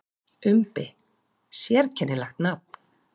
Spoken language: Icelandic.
Umbi: Sérkennilegt nafn.